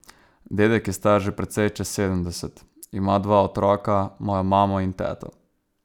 Dedek je star že precej čez sedemdeset, ima dva otroka, mojo mamo in teto.